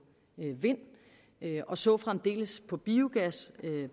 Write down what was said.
vind og så fremdeles på biogas